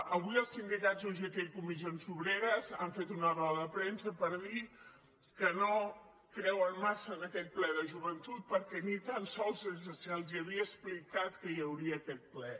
avui els sindicats ugt i comissions obreres han fet una roda de premsa per dir que no creuen massa en aquest ple de joventut perquè ni tan sols se’ls havia explicat que hi hauria aquest ple